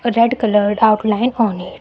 a red coloured outline on it.